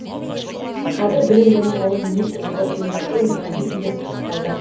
қазір білім және ғылым министрлігі ұйымдастыру механизмдерін пысықтауда